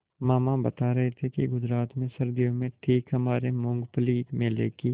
मामा बता रहे थे कि गुजरात में सर्दियों में ठीक हमारे मूँगफली मेले की